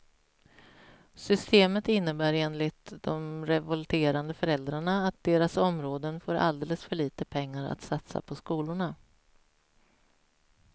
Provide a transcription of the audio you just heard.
Systemet innebär enligt de revolterande föräldrarna att deras områden får alldeles för lite pengar att satsa på skolorna.